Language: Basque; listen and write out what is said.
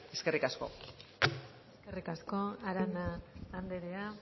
eskerrik asko eskerrik asko arana anderea